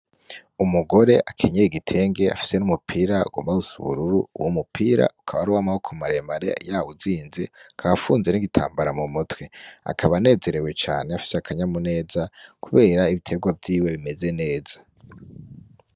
Umugore akenyeye igitenge afise umupira ugomba gusa ubururu uwo mupira ukaba ari uwamaboko maremare yawuzinze afunze n'igitambara mu mutwe akaba anezerewe cane afise akanyamuneza kubera ibiterwa vyiwe bimeze neza.